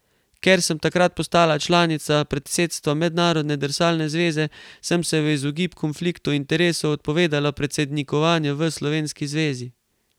Ker sem takrat postala članica predsedstva Mednarodne drsalne zveze, sem se v izogib konfliktu interesov odpovedala predsednikovanju v slovenski zvezi.